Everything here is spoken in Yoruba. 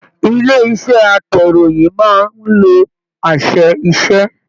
Ilé iṣẹ atẹ̀róyin máa n ló àṣẹ-iṣẹ.